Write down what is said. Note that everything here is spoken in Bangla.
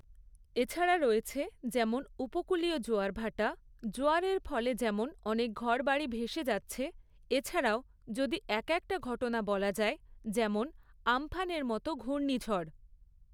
এছাড়া রয়েছে যেমন উপকূলীয় জোয়ার ভাটা, জোয়ারের ফলে যেমন অনেক ঘরবাড়ি ভেসে যাচ্ছে, এছাড়াও যদি এক একটা ঘটনা বলা যায়, যেমন আমফানের মতো ঘূর্ণঝড়।